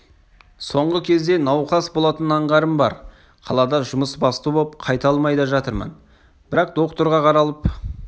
соңғы кезде науқас болатын аңғарым бар қалада жұмысбасты боп қайта алмай да жатырмын бірақ докторға қаралып